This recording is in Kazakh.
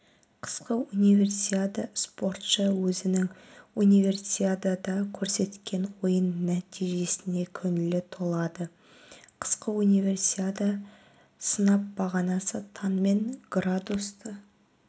қысқы универсиада спортшы өзінің универсиадада көрсеткен ойын нәтижесіне көңілі толады қысқы универсиада сынап бағанасы таңмен градусты